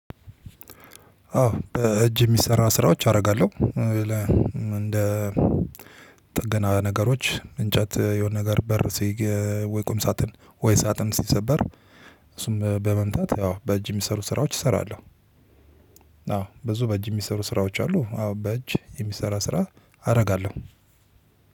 አዎ በእጅ የሚሰራ ስራዎች አደርጋለሁ። እንደ ጥገና ነገሮች እንጨት የሆነ ነገር በር ወይ ቁም ሳጥን ወይ ሳጥን ሲሰበር። እሱም በመምታት ያው በእጅ የሚሰሩ ስራዎች እሰራለሁ። አዎ ብዙ በእጅ የሚሰሩ ስራዎች አሉ። አዎ በእጅ የሚሰራ ስራ አደርጋለሁ።